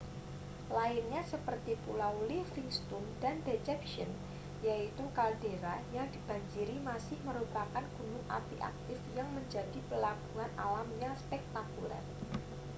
lainnya seperti pulau livingston dan deception yaitu kaldera yang dibanjiri masih merupakan gunung api aktif yang menjadi pelabuhan alam yang spektakuler